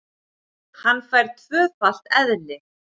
Hann fær tvöfalt eðli.